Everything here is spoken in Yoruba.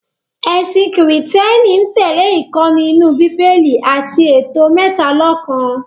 Ẹ̀sìn kìrììtẹ́nì ń tẹ̀lẹ́ ìkọ́ni inú Bíbélì àti ètò mẹ́talọ̀kan